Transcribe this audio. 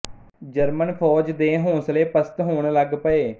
German ਫ਼ੌਜ ਦੇ ਹੌਸਲੇ ਪਸਤ ਹੋਣ ਲੱਗ ਪਏ